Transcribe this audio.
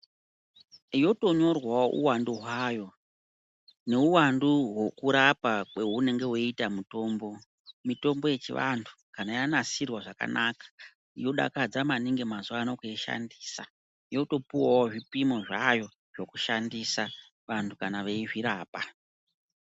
Yotonyorwawo uwandu hwayo, neuwandu hwekurapa kweunonga weiita mutombo. Mitombo yechivanthu kana yanasirwa zvakanaka yodakadza maningi mazuwa anaa kuishandisa yotopuwawo zvipimo zvayo zvekushandisa vanthu kana veizvirapa.